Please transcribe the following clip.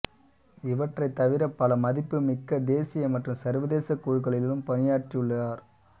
இவற்றைத் தவிர பல மதிப்புமிக்க தேசிய மற்றும் சர்வதேச குழுக்களிலும் பணியாற்றியுள்ளார்